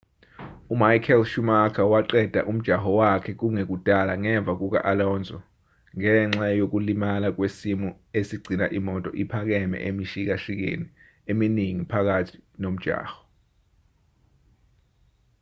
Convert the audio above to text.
umichael schumacher waqeda umjaho wakhe kungekudala ngemva kuka-alonso ngenxa yokulimala kwesimo esigcina imoto iphakeme emishikashikeni eminingi phakathi nomjaho